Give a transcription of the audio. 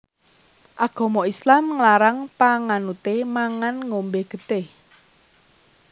Agama Islam nglarang panganuté mangan ngombé getih